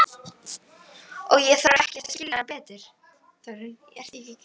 Og ég þarf ekkert að skilja hana betur.